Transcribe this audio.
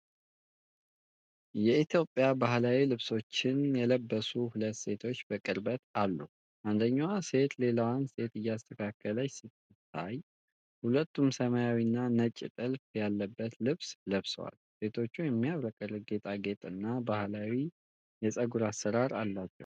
የኢትዮጵያ ባህላዊ ልብሶችን የለበሱ ሁለት ሴቶች በቅርበት አሉ። አንደኛዋ ሴት ሌላዋን ሴት እያስተካከለች ስትታይ፣ ሁለቱም ሰማያዊና ነጭ ጥልፍ ያለበት ልብስ ለብሰዋል። ሴቶቹ የሚያብረቀርቅ ጌጣጌጥና ባህላዊ የፀጉር አሰራር አላቸው።